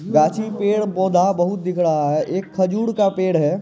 गाछी पेड़ पौधा बहुत दिख रहा है एक खजूर का पेड़ है।